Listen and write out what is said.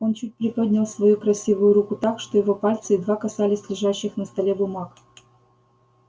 он чуть приподнял свою красивую руку так что его пальцы едва касались лежащих на столе бумаг